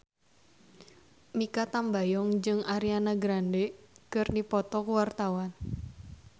Mikha Tambayong jeung Ariana Grande keur dipoto ku wartawan